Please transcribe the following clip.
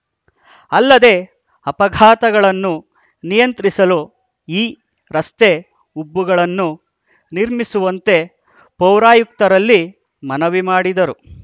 ಅಲ್ಲದೆ ಅಪಘಾತಗಳನ್ನು ನಿಯಂತ್ರಿಸಲು ಈ ರಸ್ತೆ ಉಬ್ಬುಗಳನ್ನು ನಿರ್ಮಿಸುವಂತೆ ಪೌರಾಯುಕ್ತರಲ್ಲಿ ಮನವಿ ಮಾಡಿದರು